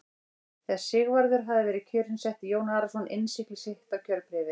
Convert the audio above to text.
Þegar Sigvarður hafði verið kjörinn setti Jón Arason innsigli sitt á kjörbréfið.